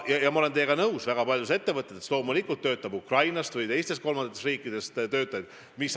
Ma olen teiega nõus: väga paljudes ettevõtetes loomulikult töötab Ukrainast või teistest kolmandatest riikidest töötajaid.